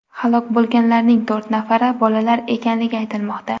Halok bo‘lganlarning to‘rt nafari bolalar ekanligi aytilmoqda.